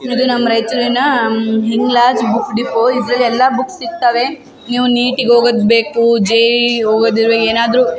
ಇದು ನಮ್ಮ್ ರಯ್ಚೂರಿನ ಹಿಂಗ್ಲಾಜ್ ಬುಕ್ ಡಿಪೋ ಇದ್ರಲ್ ಎಲ್ಲಾ ಬುಕ್ಸ್ ಸಿಕ್ತವೆ ನೀವ್ ನೀಟಿಗ್ ಹೋಗೋದ್ಬೇಕು ಜೆ.ಈ.ಈ. ಹೋಗೋದಿರುವೆ ಏನಾದ್ರು --